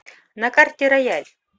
на карте рояль